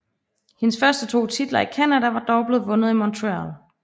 Hendes første to titler i Canada var dog blevet vundet i Montréal